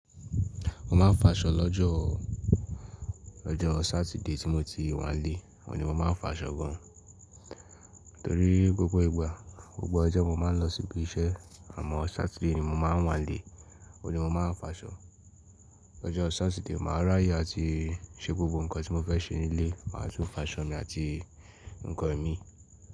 Mo máa ń faṣọ lọ́jọ́, ọjọ́ Sátidé tí mo ti wá lé, òun ní mo máa ń faṣọ gan. Nítorí gbogbo ìgbà, gbogbo ọjọ́ mo máa ń lọ síbi iṣẹ́ àmọ́ Sátidé ni mo máa ń wá lé, òní mo máa ń faṣọ. Lọ́jọ́ Sátidé, màá ráyè àti ṣe gbogbo ǹnkan tí mo fẹ́ ṣe nílé, màá tún faṣọ mi àti ǹnkan ẹ̀mí.